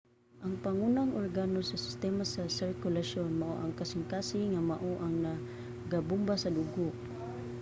ang pangunang organo sa sistema sa sirkulasyon mao ang kasingkasing nga mao ang nagabomba sa dugo